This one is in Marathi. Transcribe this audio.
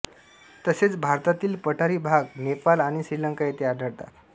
तसेच भारतातील पठारी भाग नेपाल आणि श्रीलंका येथे आढळतात